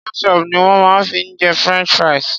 Ketchup ni wón ma fi ń jẹ french fries.